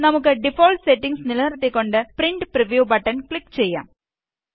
നമുക്ക് default settings നിലനിര്ത്തിക്കൊണ്ട് print preview button click ചെയ്യാം